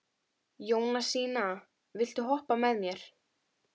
Jónasína, viltu hoppa með mér?